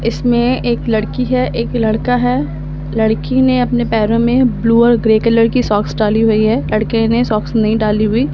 इसमें एक लड़की है एक लड़का है लड़की ने अपने पैरों में ब्लू और ग्रे कलर की सॉक्स डाली हुई है लड़के ने सॉक्स नहीं डाली हुई।